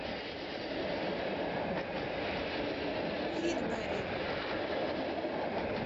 фитберри